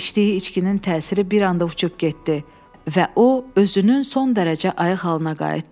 İçdiyi içkinin təsiri bir anda uçub getdi və o özünün son dərəcə ayıq halına qayıtdı.